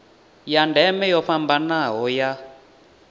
ya ndeme yo fhambanaho ya